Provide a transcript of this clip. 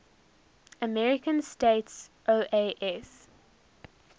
american states oas